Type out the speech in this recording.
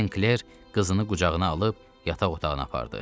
Sinkler qızını qucağına alıb yataq otağına apardı.